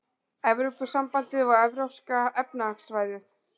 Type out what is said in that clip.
Evrópusambandið og Evrópska efnahagssvæðið.